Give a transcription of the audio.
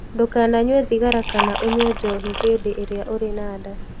Ndũkananyue thigara kana ũnyue njohi hĩndĩ ĩrĩa ũrĩ na nda.